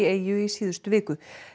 eyju í síðustu viku